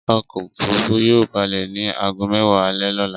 Ọkọ̀-òfurufú yóò balẹ̀ ní ago mẹ́wàá alẹ́ lọ́la.